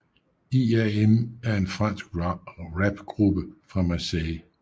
IAM er en fransk rapgruppe fra Marseille